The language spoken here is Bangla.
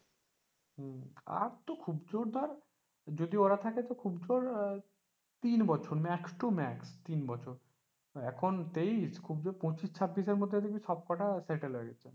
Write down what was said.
আর তো খুব জোর ধরে যদি ওরা থাকে খুব জোর আহ তিন বছর max to max তিন বছর max to max তিন বছর এখন তেইশ খুব জোর পঁচিশ ছাব্বিশের মধ্যে দেখবি সবকটা settle হয়ে গেছে।